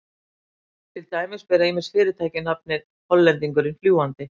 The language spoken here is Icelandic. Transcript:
Til dæmis bera ýmis fyrirtæki nafnið Hollendingurinn fljúgandi.